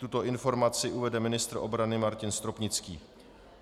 Tuto informaci uvede ministr obrany Martin Stropnický.